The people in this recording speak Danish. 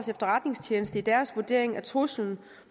efterretningstjeneste i deres vurdering af truslen